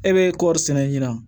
E bɛ kɔɔri sɛnɛ ɲina